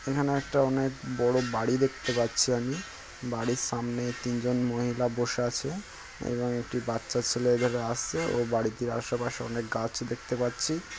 এখানে একটা অনেক বড় বাড়ি দেখতে পাচ্ছি আমি। বাড়ির সামনে তিনজন মহিলা বসে আছে এবং একটি বাচ্চা ছেলে এধারে আসসে । ও বাড়িতে আশেপাশে অনেক গাছ দেখতে পাচ্ছি।